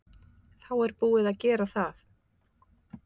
Þá er búið að gera það.